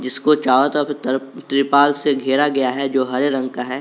इसको चारों तरफ तर तिरपाल से घेरा गया है जो हरे रंग का है।